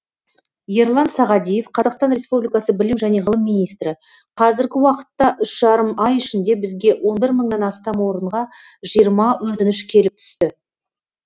ерлан сағадиев қазақстан республикасы білім және ғылым министрі қазіргі уақытта үш жарым ай ішінде бізге он бір мыңнан астам орынға жиырма өтініш келіп түсті